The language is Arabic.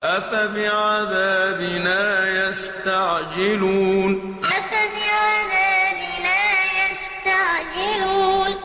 أَفَبِعَذَابِنَا يَسْتَعْجِلُونَ أَفَبِعَذَابِنَا يَسْتَعْجِلُونَ